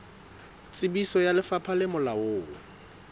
tsebiso ya lefapha le molaong